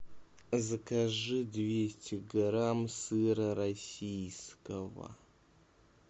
закажи двести грамм сыра российского